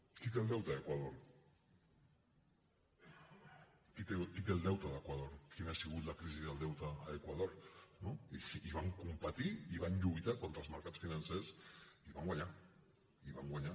qui té el deute a equador qui té el deute d’equador quina ha sigut la crisi del deute a equador i van competir i van lluitar contra els mercats financers i van guanyar i van guanyar